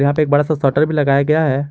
यहां पे एक बड़ा सा शटर भी लगाया गया है।